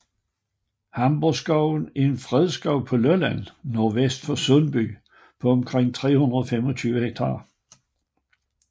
Hamborgskoven er en fredskov på Lolland nordvest for Sundby på omkring 325 ha